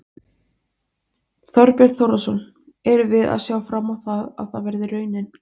Heimir Már Pétursson: Liv ætlið þið ykkur algjöra forystu á þessum markaði?